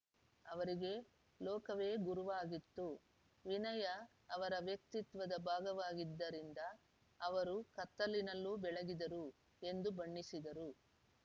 ಅವರಿಗೆ ಲೋಕವೇ ಗುರುವಾಗಿತ್ತು ವಿನಯ ಅವರ ವ್ಯಕ್ತಿತ್ವದ ಭಾಗವಾಗಿದ್ದರಿಂದ ಅವರು ಕತ್ತಲಿನಲ್ಲೂ ಬೆಳಗಿದರು ಎಂದು ಬಣ್ಣಿಸಿದರು